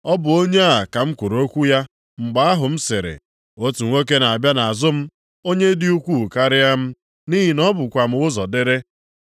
Ọ bụ onye a ka m kwuru okwu ya mgbe ahụ m sịrị, ‘otu nwoke na-abịa nʼazụ m, onye dị ukwuu karịa m, nʼihi na o bukwa m ụzọ dịrị.’